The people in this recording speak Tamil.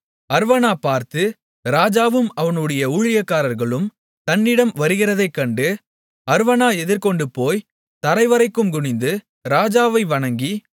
அர்வனா பார்த்து ராஜாவும் அவனுடைய ஊழியக்காரர்களும் தன்னிடம் வருகிறதைக்கண்டு அர்வனா எதிர்கொண்டுபோய் தரைவரைக்கும் குனிந்து ராஜாவை வணங்கி